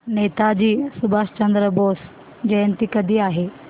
नेताजी सुभाषचंद्र बोस जयंती कधी आहे